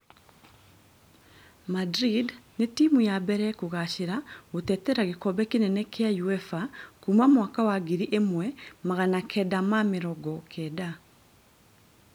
Madrid nĩtimũ ya mbere kugacĩra gũtetera gikombe kĩnene kĩa Uefa kuma mwaka wa ngiri imwe magana kenda ma mĩrongo kenda